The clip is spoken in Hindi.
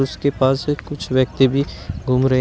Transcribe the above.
उसके पास से कुछ व्यक्ति भी घूम रहे--